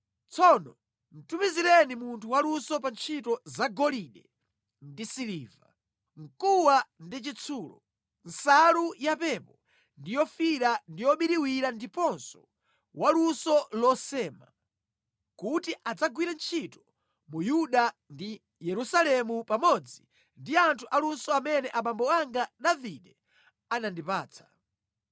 “Tsono tumizireni munthu waluso pa ntchito zagolide ndi siliva, mkuwa ndi chitsulo, nsalu yapepo ndi yofiira ndi yobiriwira ndiponso waluso losema, kuti adzagwire ntchito mu Yuda ndi Yerusalemu pamodzi ndi anthu aluso amene abambo anga Davide anandipatsa.